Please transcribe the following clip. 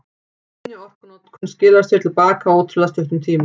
Minni orkunotkun skilar sér til baka á ótrúlega stuttum tíma.